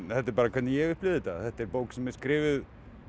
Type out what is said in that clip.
þetta er bara hvernig ég upplifi þetta þetta er bók sem er skrifuð